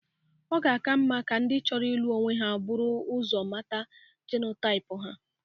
Ọ ga-aka mma ka ndị chọro ilụ onwe ha bụrụ ụzọ mata jenotaip ha.